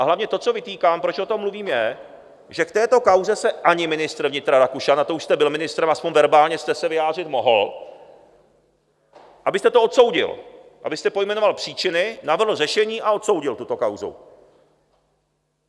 A hlavně to, co vytýkám, proč o tom mluvím, je, že k této kauze se ani ministr vnitra Rakušan, a to už jste byl ministrem, aspoň verbálně jste se vyjádřit mohl, abyste to odsoudil, abyste pojmenoval příčiny, navrhl řešení a odsoudil tuto kauzu.